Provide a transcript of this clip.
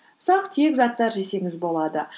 ұсақ түйек заттар жесеңіз болады